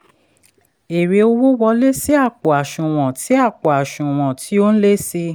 èrè owó wọlé sí àpò àṣùwọ̀n tí àpò àṣùwọ̀n tí ó n lé sí i.